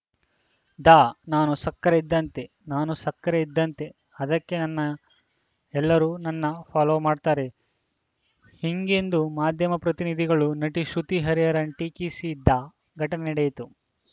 the ನಾನು ಸಕ್ಕರೆ ಇದ್ದಂತೆ ನಾನು ಸಕ್ಕರೆ ಇದ್ದಂತೆ ಅದಕ್ಕೆ ನನ್ನ ಎಲ್ಲರೂ ನನ್ನ ಫಾಲೋ ಮಾಡ್ತಾರೆ ಹೀಗೆಂದು ಮಾಧ್ಯಮ ಪ್ರತಿನಿಧಿಗಳನ್ನು ನಟಿ ಶ್ರುತಿ ಹರಿಹರನ್‌ ಟೀಕಿಸಿದ ಘಟನೆ ನಡೆಯಿತು